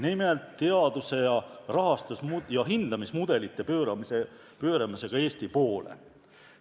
Nimelt: teaduse hindamismudelid tuleb pöörata Eesti poole.